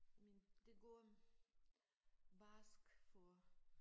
Men det går barskt for